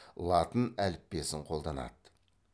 латын әліппесін қолданады